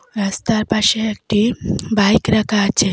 রাস্তার পাশে একটি বাইক রাখা আছে।